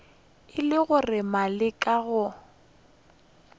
e le gore maleka ga